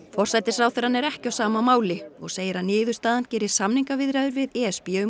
forsætisráðherrann er ekki á sama máli og segir að niðurstaðan geri samningaviðræður við e s b um